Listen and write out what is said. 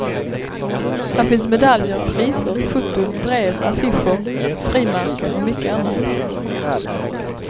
Här finns medaljer, priser, foton, brev, affischer, frimärken och mycket annat.